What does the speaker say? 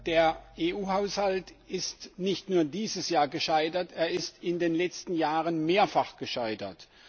Der EU Haushalt ist nicht nur dieses Jahr gescheitert, er ist in den letzten Jahren mehrfach gescheitert.